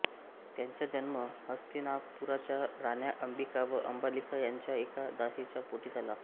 त्याचा जन्म हस्तिनापुराच्या राण्या अंबिका व अंबालिका यांच्या एका दासीच्या पोटी झाला